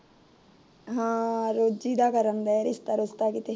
ਹਾਂ, ਰੋਜ਼ੀ ਕਰਨ ਡਏ ਏ ਰਿਸ਼ਤਾ ਰੁਸ਼ਤਾ ਕਿਤੇ